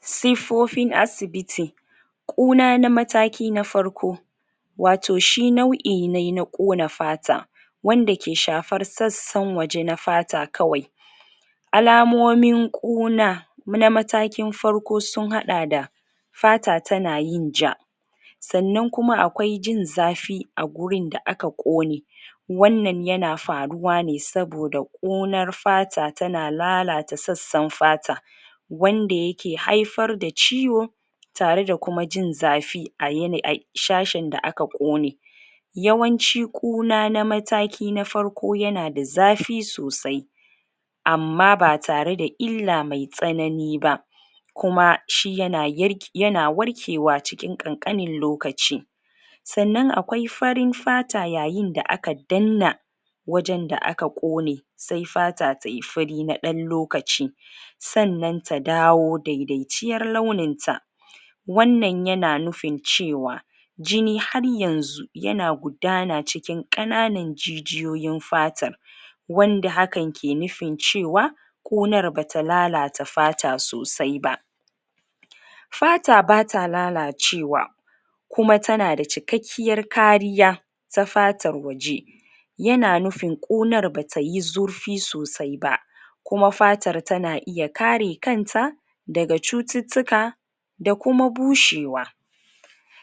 siffofin asibiti ƙuna na mataki na farko wato shi nau'i ne na ƙuna fata wanda ke shafar sassan waje na fata kawai alamomin ƙuna a matakin farkosun haɗa da fata tana yin ja sanan kuma akwai jin zafi agurin da aka ƙone wanannan yana faruwa ne saboda ƙunar fata tana lalata sassan fata wanda yake haifar da ciwo tare da kuma jin zafi um shashin da aka ƙkone yawanci ƙona na mataki na farko yana da zafi sosai amma batare da illa me tsanani ba kuma shi yana yar yana warkewa cikin ƙanƙanin lokaci sannan akwai fsrin fata yayin da aka danna wajen da aka ƙone se fata tayi fari na ɗan lokaci sanan ta dawo daidaiciyar launin ta wanan yana nufin cewa jini har yanzu yana gudana cikin ƙananan jijiyoyi na fatar wanda hakan ke nufin cewa ƙonar bata lalata fata sosai ba fata bata lalacewa kuma tana da cikekkiyar kariya ta fatar waje yana nufinƙunar batayi zurfi sosai ba kuma fatar tana iya kare kanta daga cututtuka da kuma bushewa